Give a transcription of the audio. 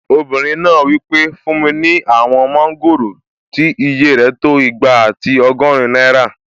Obìnrin náà wí pé "fún mi ní àwọn mọ́ngòrò tí ìyè rẹ̀ tó igba àti ọgọ́rin náírà!"